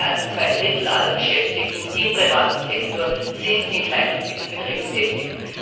mehr als zwei Drittel aller Beschäftigten im privaten Sektor sind in kleinen und mittleren Betrieben tätig.